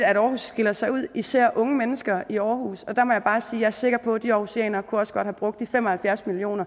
at aarhus skiller sig ud især unge mennesker i aarhus og der må jeg bare sige er sikker på at de aarhusianere også godt kunne have brugt de fem og halvfjerds million